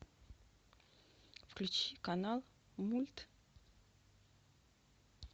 включи канал мульт